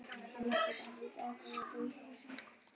Til að geta haldið áfram að búa í húsinu.